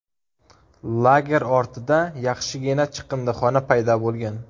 Lager ortida yaxshigina chiqindixona paydo bo‘lgan.